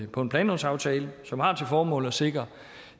på en planlovsaftale som har til formål at sikre